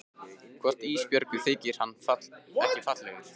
Hvort Ísbjörgu þyki hann ekki fallegur?